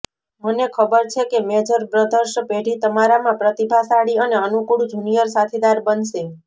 મને ખબર છે કે મેજર બ્રધર્સ પેઢી તમારામાં પ્રતિભાશાળી અને અનુકૂળ જુનિયર સાથીદાર બનશે